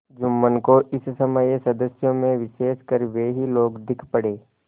जुम्मन को इस समय सदस्यों में विशेषकर वे ही लोग दीख पड़े